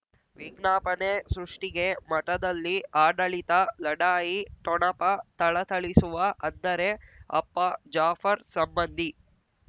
ವಿಜ್ಞಾಪನೆ ಸೃಷ್ಟಿಗೆ ಮಠದಲ್ಲಿ ಆಡಳಿತ ಲಢಾಯಿ ಠೊಣಪ ಥಳಥಳಿಸುವ ಅಂದರೆ ಅಪ್ಪ ಜಾಫರ್ ಸಂಬಂಧಿ